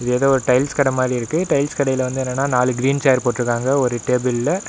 ஏதோவொரு டைல்ஸ் கட மாறி இருக்கு டைல்ஸ் கடைல வந்து என்னனா நாலு க்ரீன் சேர் போட்டுருக்காங்க ஒரு டேபிள்ல .